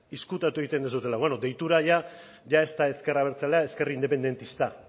ezkutatu egiten duzuela bueno eta ohitura jada ez da ezker abertzalea ezker independista